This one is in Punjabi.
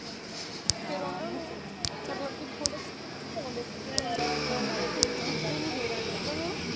ਫੇਰ ਓਹਨਾ ਨੂੰ